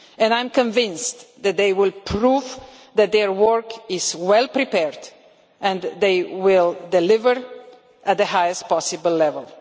I am convinced that they will prove their work is well prepared, and they will deliver at the highest possible level.